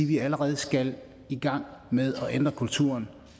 vi allerede skal i gang med at ændre kulturen